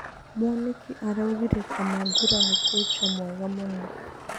Mwanĩki araugire Kamangũra nĩ kũcha mwega mũno.